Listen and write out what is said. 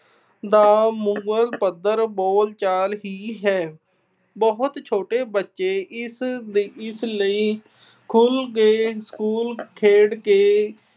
ਦਾ ਮੂਲ ਪੱਧਰ ਬੋਲਚਾਲ ਹੀ ਹੈ। ਬਹੁਤ ਛੋਟੇ ਬੱਚੇ ਇਸ ਅਹ ਇਸ ਲਈ ਸਕੂਲ ਖੇਡ ਕੇ